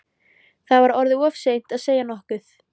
Það var orðið of seint að segja nokkuð.